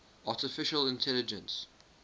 artificial intelligence